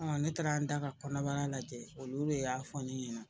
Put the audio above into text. Ɔ ne taara n da ka kɔnɔbara lajɛ olu de y'a fɔ ne ɲɛna